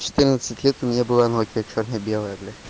в четырнадцать лет у меня была нокиа черно белая бля